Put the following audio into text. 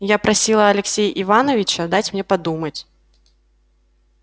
я просила алексея ивановича дать мне подумать